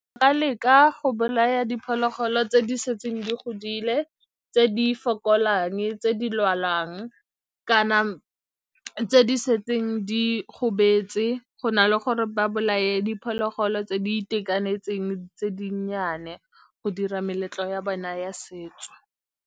Leka go bolaya diphologolo tse di setseng di godile, tse di fokolang, tse di lwalang kana tse di setseng di gobetse, go na le gore ba bolaye diphologolo tse di itekanetseng tse dinnyane go dira meletlo ya bona ya setso.